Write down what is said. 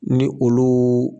Ni olu